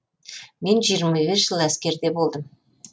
мен жиырма бес жыл әскерде болдым